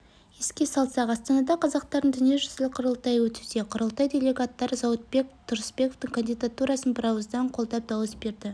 еске салсақ астанада қазақтардың дүниежүзілік құрылтайы өтуде құрылтай делегаттары зауытбек тұрысбековтің кандидатурасын бірауыздан қолдап дауыс берді